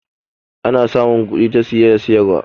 ana samun kudi ta siye da siyarwa